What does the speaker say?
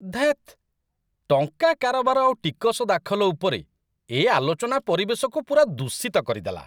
ଧେତ୍! ଟଙ୍କା କାରବାର ଆଉ ଟିକସ ଦାଖଲ ଉପରେ ଏ ଆଲୋଚନା ପରିବେଶକୁ ପୂରା ଦୂଷିତ କରିଦେଲା।